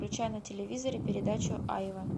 включай на телевизоре передачу айва